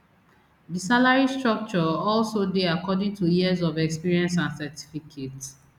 di salary structure also dey according to years of experience and certificate